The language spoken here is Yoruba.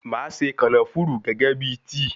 Máa se kànáfùrù gẹ́gẹ́ bíi tíì.